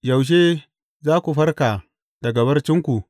Yaushe za ku farka daga barcinku?